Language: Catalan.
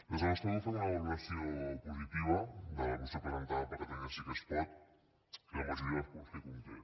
des del nostre grup fem una valoració positiva de la moció presentada per catalunya sí que es pot i de la majoria de punts que conté